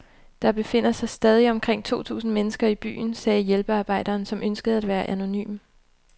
Der befinder sig stadig omkring to tusind mennesker i byen, sagde hjælpearbejderen, som ønskede at være anonym.